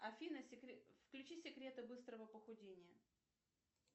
афина включи секреты быстрого похудения